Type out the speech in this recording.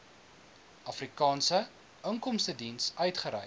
afrikaanse inkomstediens uitgereik